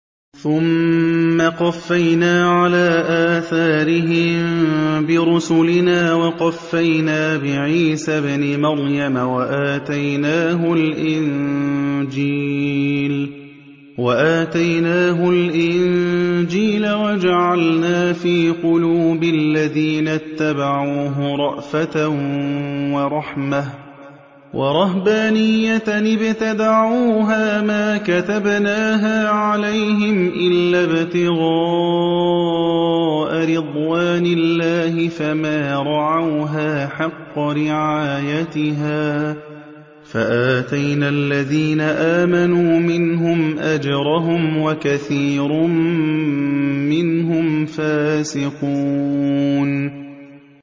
ثُمَّ قَفَّيْنَا عَلَىٰ آثَارِهِم بِرُسُلِنَا وَقَفَّيْنَا بِعِيسَى ابْنِ مَرْيَمَ وَآتَيْنَاهُ الْإِنجِيلَ وَجَعَلْنَا فِي قُلُوبِ الَّذِينَ اتَّبَعُوهُ رَأْفَةً وَرَحْمَةً وَرَهْبَانِيَّةً ابْتَدَعُوهَا مَا كَتَبْنَاهَا عَلَيْهِمْ إِلَّا ابْتِغَاءَ رِضْوَانِ اللَّهِ فَمَا رَعَوْهَا حَقَّ رِعَايَتِهَا ۖ فَآتَيْنَا الَّذِينَ آمَنُوا مِنْهُمْ أَجْرَهُمْ ۖ وَكَثِيرٌ مِّنْهُمْ فَاسِقُونَ